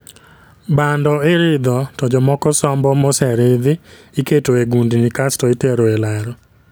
Bando iridho to jomoko sombo moserithi iketo e gundni kasto itero e laro